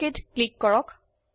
অক click কৰক